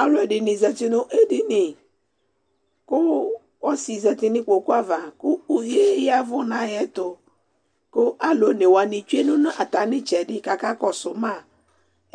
Aluɛdini zati nu edinie ku ɔsi zati nu ikpoku ava ku uvie yavu nu ayɛtu ku alu onewani tsuɛ nu atami itsɛdi kakɔsuma